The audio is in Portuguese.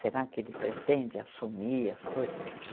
Será que ele pretende assumir as coisas?